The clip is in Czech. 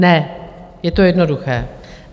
Ne, je to jednoduché.